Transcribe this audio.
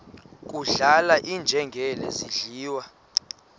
kudlala iinjengele zidliwa